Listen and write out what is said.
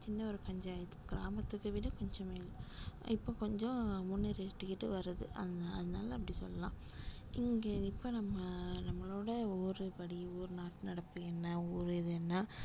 சின்ன ஒரு பஞ்சாயத்து கிராமத்தை விட கொஞ்சம் இப்ப கொஞ்சம் முன்னேறிக்கிட்டு வருது அத~ அதனால அப்படி சொல்லலாம் இங்க இப்ப நம்ம நம்மளோட ஒவ்வொரு படி ஒவ்வொரு நாட்டு நடப்பு என்ன ஊர் இது என்ன